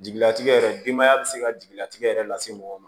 Jigilatigɛ yɛrɛ denbaya bɛ se ka jigilatigɛ yɛrɛ lase mɔgɔ ma